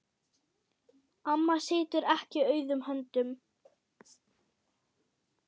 Amma situr ekki auðum höndum.